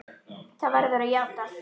Það verður að játast.